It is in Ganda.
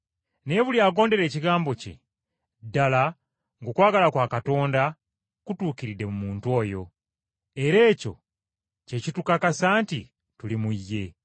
Naye buli agondera ekigambo kye, ddala ng’okwagala kwa Katonda kutuukiridde mu muntu oyo. Era ekyo kye kitukakasisa nti tuli mu ye.